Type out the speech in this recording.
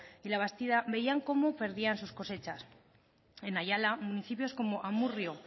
y labastida veían cómo perdían sus cosechas en ayala municipios como amurrio